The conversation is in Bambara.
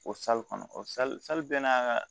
O kɔnɔ o bɛ n'a ka